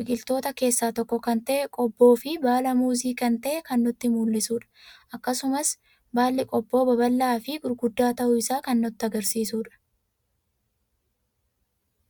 biqiltoota keessa tokko kan ta'e, Qobboofi baala Muuzii kan ta'e kan nutti mul'isudha. Akkasumas baalli Qobboo babal'aafi gurguddaa ta'uu isaa kan nutti agarsiisudha.